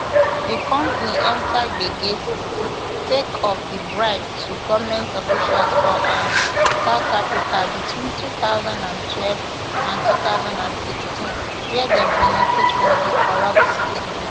di company enta gbege sake of di bribe to goment officials for um south africa between two thousand and twelve and two thousand and sixteen wia dem benefit from di corrupt scheme